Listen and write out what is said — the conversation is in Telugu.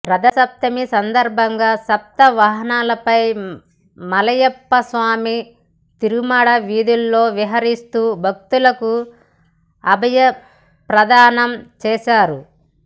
రథ సప్తమి సందర్భంగా సప్త వాహనాలపై మలయప్ప స్వామి తిరుమాడ వీధుల్లో విహరిస్తూ భక్తులకు అభయ ప్రదానం చేశారు